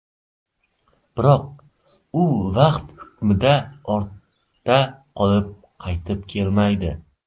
Biroq, u vaqt hukmida ortda qolib, qaytib kelmaydi.